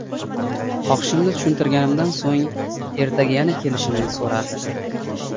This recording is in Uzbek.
Xohishimni tushuntirganimdan so‘ng, ertaga yana kelishimni so‘radi.